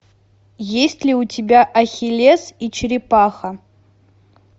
есть ли у тебя ахиллес и черепаха